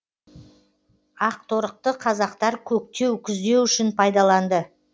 ақторықты қазақтар көктеу күздеу үшін пайдаланды